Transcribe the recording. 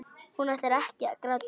Hún ætlar ekki að gráta.